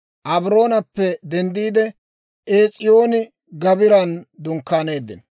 Abroonappe denddiide, Ees'iyooni-Gaabiran dunkkaaneeddino.